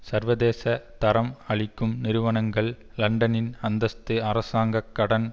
சர்வதேச தரம் அளிக்கும் நிறுவனங்கள் லண்டனின் அந்தஸ்து அரசாங்க கடன்